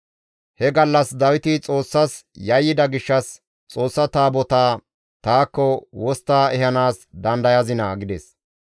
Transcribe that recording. He gallas Dawiti Xoossas yayyida gishshas, «Xoossa Taabotaa taakko wostta ehanaas dandayazinaa?» gides.